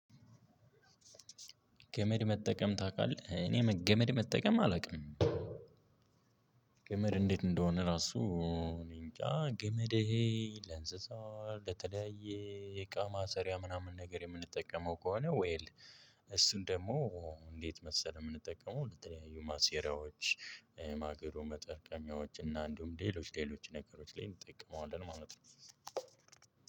ገመድ መጠቀም ታውቃለህ? እኔ ገመድ መጠቀም አላውቅም። ገመድ እንዴት እንደሆነ ራሱ። እኔንጃ ገመድ ለእንስሳው ለተለያየ እቃ ማሰሪያ ምናምን ነገር የምንጠቀመው ከሆነ ዌል። እሱን ደግሞ እንዴት መሰለ የምንጠቀመው ለተለያዩ ማሴሪያዎች ማገዶ መጠርቀሚያዎች እና እንዲሁም ሌሎች ሌሎች ነገሮች ላይ እንጠቀመዋለን ማለት ነው።